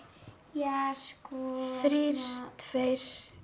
ja sko þrír tveir